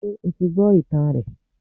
Sé o ti gbó ìtàn rẹ̀